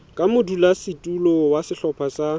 ka modulasetulo wa sehlopha sa